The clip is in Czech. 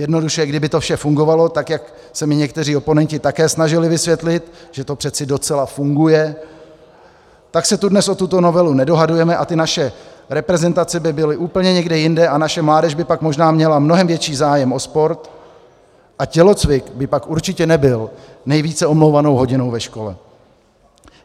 Jednoduše, kdyby to vše fungovalo tak, jak se mi někteří oponenti také snažili vysvětlit, že to přece docela funguje, tak se tu dnes o tuto novelu nedohadujeme a ty naše reprezentace by byly úplně někde jinde a naše mládež by pak možná měla mnohem větší zájem o sport a tělocvik by pak určitě nebyl nejvíce omlouvanou hodinou ve škole.